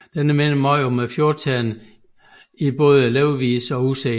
Den minder meget om fjordternen i både levevis og udseende